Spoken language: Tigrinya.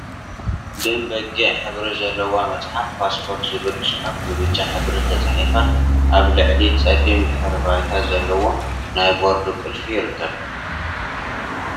ደም በጊዕ ሕብሪ ዘለዋ መፅሓፍ ፓስፖርት ዝብል ፅሑፍ ብብጫ ሕብሪ ተፃሒፉ አብ ልዕሊ ፀሊም ድሕረ ባይታ ዘለዎ ናይ ቦርድ ቁልፊ ይርከብ፡፡